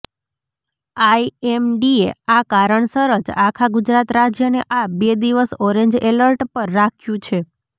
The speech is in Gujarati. આઈએમડીએ આ કારણસર જ આખા ગુજરાત રાજ્યને આ બે દિવસ ઓરેન્જ એલર્ટ પર રાખ્યું છે